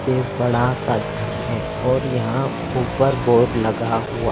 पे बड़ा सा घर है और यहाँ ऊपर बोर्ड लगा हुआ।